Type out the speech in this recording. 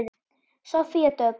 Soffía Dögg.